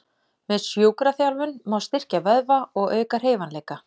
Með sjúkraþjálfun má styrkja vöðva og auka hreyfanleika.